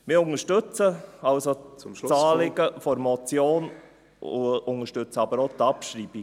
Wir unterstützen das Anliegen der Motion, unterstützen aber auch die Abschreibung.